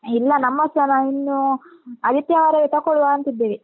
ಇಲ್ಲ ನಮ್ಮದ್ಸ ನಾ ಇನ್ನೂ ಆದಿತ್ಯವಾರವೇ ತಕೊಳ್ವಾ ಅಂತಿದ್ದೇವೆ.